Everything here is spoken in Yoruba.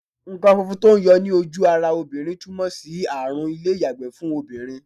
Nǹkan funfun tó ń yọ ní ojú ara obìnrin túmọ̀ sí àrùn ilé-iyagbe ni fún obìnrin.